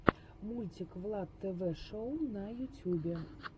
мультик влад тв шоу на ютюбе